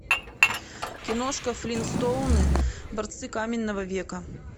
киношка флинстоуны борцы каменного века